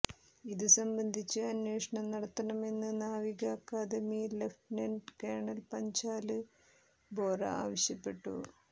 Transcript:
ഇതുസംബന്ധിച്ച് അന്വേഷണം നടത്തണമെന്ന് നാവിക academy lieutenant colonel Panchal Bora ആവശ്യപ്പെട്ടു